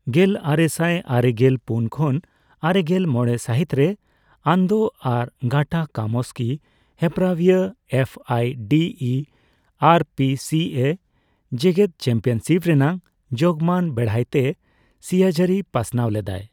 ᱜᱮᱞᱟᱨᱮᱥᱟᱭ ᱟᱨᱮᱜᱮᱞ ᱯᱩᱱ ᱠᱷᱚᱱ ᱟᱨᱮᱜᱮᱞ ᱢᱚᱲᱮ ᱥᱟᱹᱦᱤᱛ ᱨᱮ, ᱟᱱᱚᱱᱫᱚ ᱟᱨ ᱜᱟᱴᱟ ᱠᱟᱢᱚᱥᱠᱤ ᱦᱮᱯᱮᱨᱟᱣᱤᱭᱟᱹ ᱮᱯᱷ ᱟᱭ ᱰᱤ ᱤ ᱟᱨ ᱯᱤ ᱥᱤ ᱮ ᱡᱮᱜᱮᱫ ᱪᱮᱢᱯᱤᱭᱟᱱᱥᱤᱯ ᱨᱮᱭᱟᱜ ᱡᱳᱜᱢᱟᱱ ᱵᱮᱲᱦᱟᱭᱛᱮ ᱥᱤᱭᱟᱹᱡᱟᱹᱨᱤ ᱯᱟᱥᱱᱟᱣ ᱞᱮᱫᱟᱭ ᱾